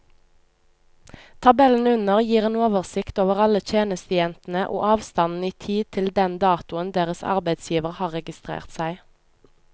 Tabellen under gir en oversikt over alle tjenestejentene og avstanden i tid til den datoen deres arbeidsgivere har registrert seg.